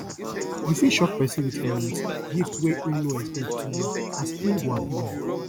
yu fit shock pesin wit um gift wey em no expect um as em go hapi wella